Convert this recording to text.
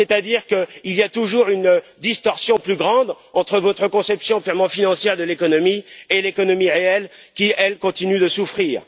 C'est à dire que la distorsion sera toujours plus grande entre votre conception purement financière de l'économie et l'économie réelle qui, elle, continue de souffrir.